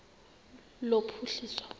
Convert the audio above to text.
lophuhliso